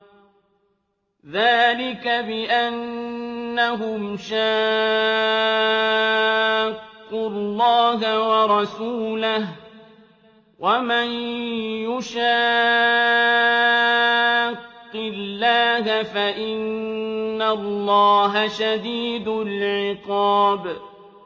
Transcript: ذَٰلِكَ بِأَنَّهُمْ شَاقُّوا اللَّهَ وَرَسُولَهُ ۖ وَمَن يُشَاقِّ اللَّهَ فَإِنَّ اللَّهَ شَدِيدُ الْعِقَابِ